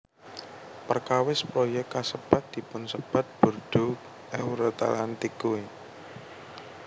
Perkawis proyék kasebat dipunsebat Bordeaux Euratlantique